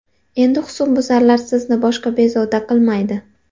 Endi husnbuzarlar sizni boshqa bezovta qilmaydi.